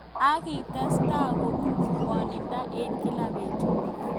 Ak kietestai kobit ngwnindo eng kila betut.